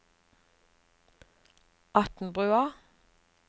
Atnbrua